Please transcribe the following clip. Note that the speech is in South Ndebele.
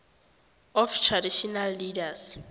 of traditional leaders